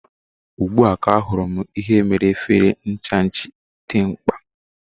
Ugbu a, ka ahụrụ m ihe mere efere ncha ji dị mkpa